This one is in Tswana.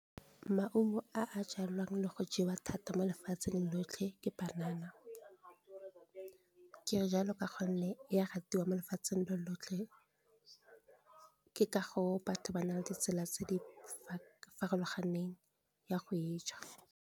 Maungo a a jalwang le go jewa thata mo lefatsheng lotlhe ke banana gore kere jalo ka gonne ya ratiwa mo lefatsheng lotlhe ke ka go batho ba na le ditsela tse di farologaneng ya go e ja.